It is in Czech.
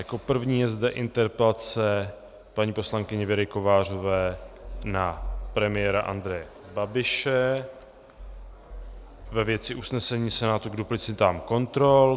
Jako první je zde interpelace paní poslankyně Věry Kovářové na premiéra Andreje Babiše ve věci usnesení Senátu k duplicitám kontrol.